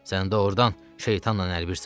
Sən doğrudan şeytanla əlbirsən.